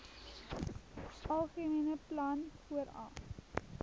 algemene plan vooraf